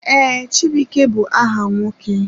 Ee, chibuike bụ aha nwoke.